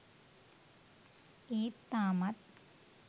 ඒත් තාමත්